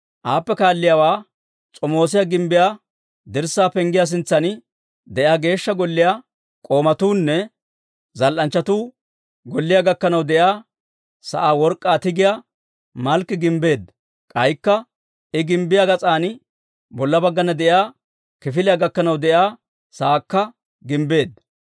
Aappe kaalliyaawaa S'omoosiyaa gimbbiyaa dirssaa Penggiyaa sintsan de'iyaa Geeshsha Golliyaa k'oomatuunne zal"anchchatuu golliyaa gakkanaw de'iyaa sa'aa work'k'aa tigiyaa Malkki gimbbeedda. K'aykka I gimbbiyaa gas'an bolla baggana de'iyaa kifiliyaa gakkanaw de'iyaa sa'aakka gimbbeedda.